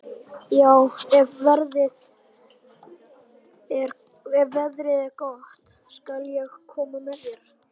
Já, ef veðrið er gott skal ég koma með þér.